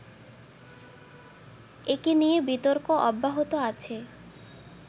একে নিয়ে বিতর্ক অব্যাহত আছে